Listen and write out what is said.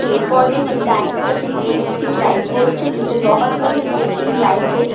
पेड़-पौधे है दाएं तरफ ये इलेक्ट्रिक लाइट पोस्ट है जिसपे बहुत सारे इलेक्ट्रिक लाइट हैं।